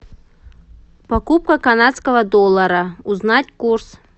покупка канадского доллара узнать курс